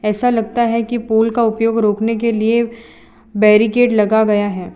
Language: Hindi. ऐसा लगता है की पुल का उपयोग रोकने के लिए बैरिकेड लगा गया है।